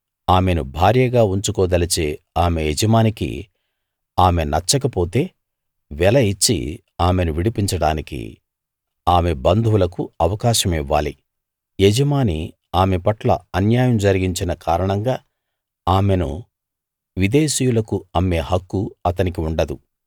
ఆమెను భార్యగా ఉంచుకోదలచే ఆమె యజమానికి ఆమె నచ్చక పోతే వెల ఇచ్చి ఆమెను విడిపించడానికి ఆమె బంధువులకు అవకాశం ఇవ్వాలి యజమాని ఆమె పట్ల అన్యాయం జరిగించిన కారణంగా ఆమెను విదేశీయులకు అమ్మే హక్కు అతనికి ఉండదు